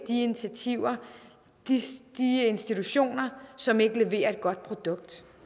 de initiativer de institutioner som ikke leverer et godt produkt